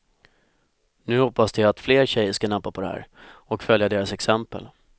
Nu hoppas de att fler tjejer ska nappa på det här och följa deras exempel.